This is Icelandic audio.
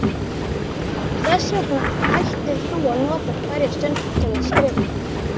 Þess vegna ættir þú að nota hverja stund til skrifta.